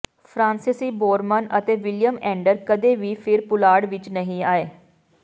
ਫਰਾਂਸੀਸੀ ਬੋਰਮਨ ਅਤੇ William Anders ਕਦੇ ਵੀ ਫਿਰ ਪੁਲਾੜ ਵਿਚ ਨਹੀਂ ਆਏ